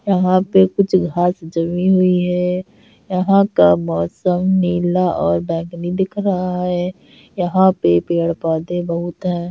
यहां पे कुछ घास जमी हुई है यहाँ का मौसम नीला और बैगनी दिख रहा है यहाँ पर पेड़-पौधे बहुत हैं।